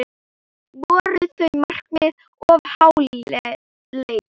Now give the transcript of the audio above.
Voru þau markmið of háleit?